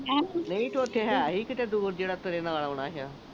ਨਹੀ ਤੇ ਉਥੇ ਕਿਤੇ ਦੂਰ ਜਿਹੜਾ ਤੇਰੇ ਨਾਲ ਆਉਣਾ